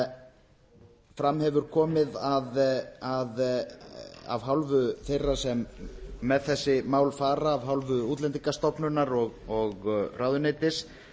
en fram hefur komið af hálfu þeirra sem með þessi mál fara af hálfu útlendingastofnunar og ráðuneytis